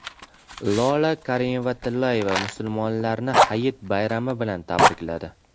Lola Karimova-Tillayeva musulmonlarni Hayit bayrami bilan tabrikladi.